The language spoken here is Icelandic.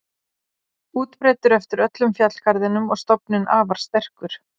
Útbreiddur eftir öllum fjallgarðinum og stofninn afar sterkur.